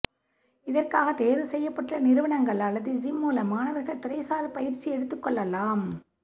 இதற்காக தேர்வு செய்யப்பட்டுள்ள நிறுவனங்கள் அல்லது ஜிம் மூலம் மாணவர்கள் துறைசார் பயிற்சி எடுத்துக் கொள்ளலாம்